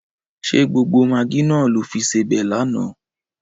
Ṣé gbogbo magí náà lo fi sebẹ̀ lánàá?